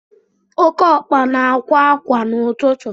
Oké ọkpa na-akwa ákwá n'ụtụtụ